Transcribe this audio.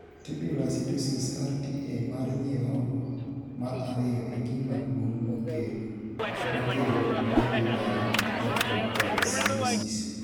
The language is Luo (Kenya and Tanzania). Tubular acidosis (RTA) mar nyirongo mar ariyo e gima duong' makelo medullary nephrocalcinosis.